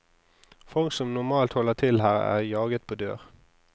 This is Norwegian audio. Folk som normalt holder til her, er jaget på dør.